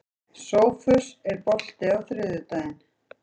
Sófus, er bolti á þriðjudaginn?